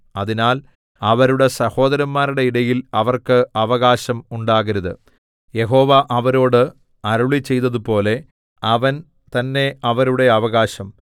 അതിനാൽ അവരുടെ സഹോദരന്മാരുടെ ഇടയിൽ അവർക്ക് അവകാശം ഉണ്ടാകരുത് യഹോവ അവരോട് അരുളിച്ചെയ്തതുപോലെ അവൻ തന്നെ അവരുടെ അവകാശം